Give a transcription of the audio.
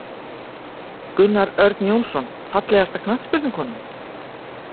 Gunnar Örn Jónsson Fallegasta knattspyrnukonan?